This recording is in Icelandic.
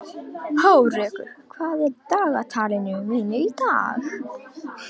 Hárekur, hvað er í dagatalinu mínu í dag?